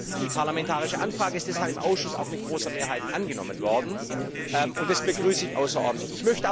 Die parlamentarische Anfrage ist deshalb im Ausschuss auch mit großer Mehrheit angenommen worden, und das begrüße ich außerordentlich.